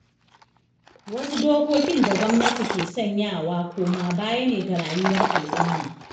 Wasu dokokin da gwamnati ke sanyawa, koma-baya ne ga rayuwar alumma.